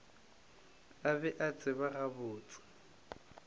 a be a tseba gabotse